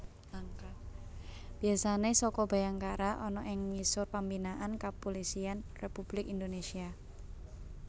Biasane Saka Bhayangkara ana ing ngisor pembinaan Kepulisian Republik Indonesia